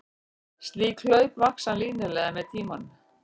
Slík hlaup vaxa línulega með tíma.